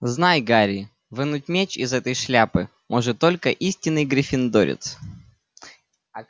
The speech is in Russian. знай гарри вынуть меч из этой шляпы может только истинный гриффиндорец